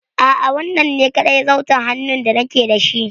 A'a, wannan ne kaɗai zarton hannun da nake da shi.